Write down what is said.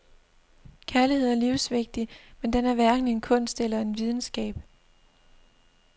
Kærlighed er livsvigtig, men den er hverken en kunst eller en videnskab.